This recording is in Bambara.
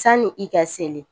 Sani i ka seli.